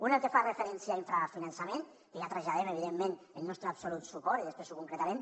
un el que fa referència a infrafinançament que ja traslladem evidentment el nostre absolut suport i després ho concretarem